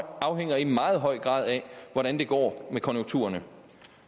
afhænger i meget høj grad af hvordan det går med konjunkturerne